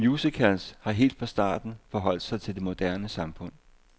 Musicals har helt fra starten forholdt sig til det moderne samfund.